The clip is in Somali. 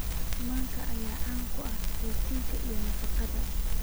Manka ayaa qani ku ah borotiinka iyo nafaqeynta